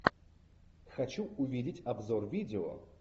хочу увидеть обзор видео